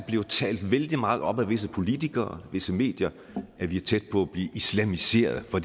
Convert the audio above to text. talt vældig meget op af visse politikere af visse medier at vi er tæt på at blive islamiseret for